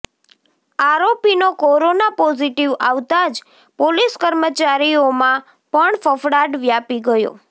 આરોપીનો corona positive આવતા જ police કર્મચારીઓમાં પણ ફફડાટ વ્યાપી ગયો છે